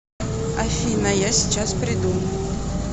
афина я сейчас приду